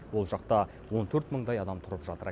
ол жақта он төрт мыңдай адам тұрып жатыр